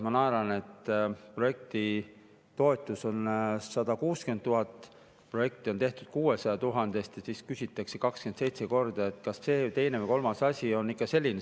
Ma naeran, et projekti toetus on 160 000, projekti on tehtud 600 000 eest ja siis küsitakse 27 korda, kas see, teine või kolmas asi on ikka selline.